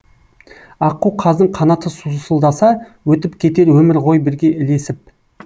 аққу қаздың қанаты сусылдаса өтіп кетер өмір ғой бірге ілесіп